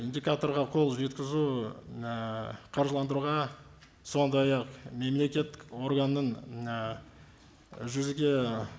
индикаторға қол жеткізу ііі қаржыландыруға сондай ақ мемлекеттік органның і жүзеге